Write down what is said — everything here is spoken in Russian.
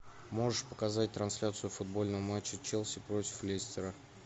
можешь показать трансляцию футбольного матча челси против лестера